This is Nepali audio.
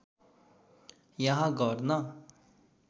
यहाँ गर्न